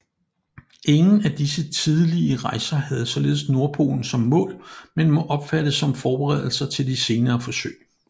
Ingen af disse tidlige rejser havde således nordpolen som mål men må opfattes som forberedelser til de senere forsøg